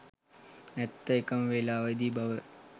ඇත්තේ එකම වේලාවේදී බව